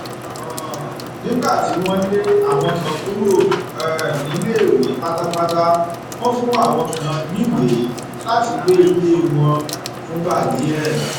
um nígbà tí wọn lé àwọn kan kúrò um níléèwé pátápátá wọn fún àwọn kan níwèé láti gbé ilé wọn fúngbà díẹ